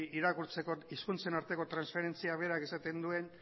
irakurtzeko hizkuntzen arteko transferentzia berak esaten duen